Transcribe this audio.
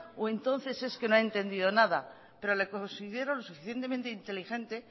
o entonces es que no ha entendido nada pero le considero suficientemente inteligente